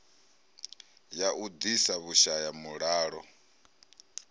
ya u ḓisa vhushaya mulalo